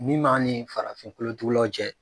Min m'an ni farafin kolotugulaw cɛ